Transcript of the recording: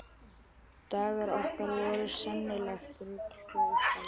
Dagar okkar voru sennilegt rugl frá upphafi.